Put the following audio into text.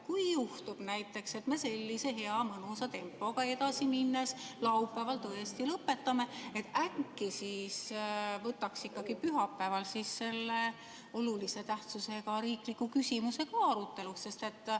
Kui juhtub näiteks, et me sellise hea mõnusa tempoga edasi minnes laupäeval tõesti lõpetame, äkki võtaks ikkagi pühapäeval siis selle olulise tähtsusega riikliku küsimuse ka aruteluks?